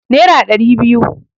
Nera ɗari biyu